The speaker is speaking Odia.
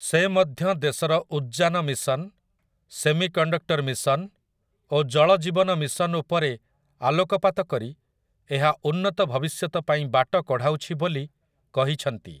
ସେ ମଧ୍ୟ ଦେଶର ଉଦ୍‌ଜାନ ମିଶନ୍, ସେମିକଣ୍ଡକ୍ଟର୍‌ ମିଶନ୍ ଓ ଜଳ ଜୀବନ ମିଶନ୍ ଉପରେ ଆଲୋକପାତ କରି ଏହା ଉନ୍ନତ ଭବିଷ୍ୟତ ପାଇଁ ବାଟ କଢ଼ାଉଛି ବୋଲି କହିଛନ୍ତି ।